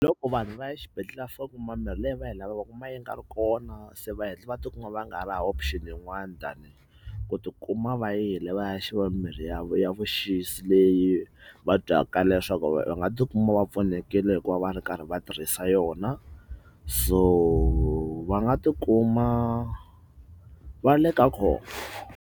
Hi loko vanhu va ya exibedhlele va fika va kuma ku mirhi leyi va yi lavaka va kuma yi nga ri kona, se va heta va tikuma va nga ha ri hava option yin'wani tani hi ku tikuma va yile va ya xava mimirhi ya ya vuxisi leyi va twaka leswaku va nga tikuma va pfunekile hikuva va ri karhi va tirhisa yona so va nga tikuma va ri le ka khombo.